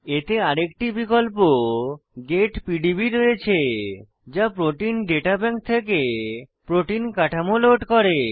এতে আরেকটি বিকল্প গেট পিডিবি রয়েছে যা প্রোটিন ডেটা ব্যাংক থেকে প্রোটিন কাঠামো লোড করে